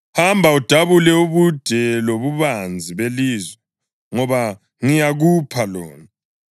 Hamba udabule ubude lobubanzi belizwe, ngoba ngiyakupha lona.”